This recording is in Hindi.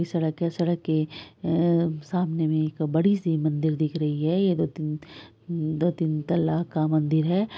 सड़क के सामने में एक बड़ी सी मंदिर दिख रही है। ये दो तीन दो तीन तल्ले का मंदिर है ।